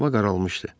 Hava qaralmışdı.